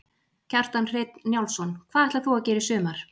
Kjartan Hreinn Njálsson: Hvað ætlar þú að gera í sumar?